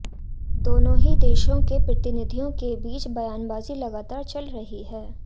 दोनों ही देशों के प्रतिनिधियों के बीच बयानबाजी लगातार चल रही है